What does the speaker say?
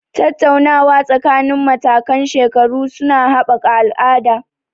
Tattaunawa tsakanin matakan shekaru su na haɓaka al'ada.